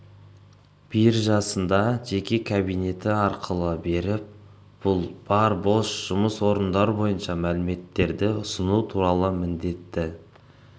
биржасында жеке кабинеті арқылы беріп бұл бар бос жұмыс орындар бойынша мәліметтерді ұсыну туралы міндетті